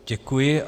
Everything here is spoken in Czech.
Děkuji.